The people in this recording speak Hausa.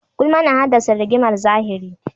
Gulma na haddasa rigimar zahiri.